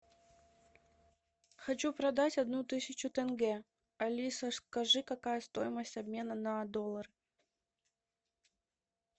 хочу продать одну тысячу тенге алиса скажи какая стоимость обмена на доллар